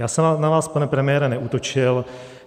Já jsem na vás, pane premiére, neútočil.